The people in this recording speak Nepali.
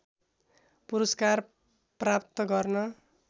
पुरस्कार प्राप्त गर्न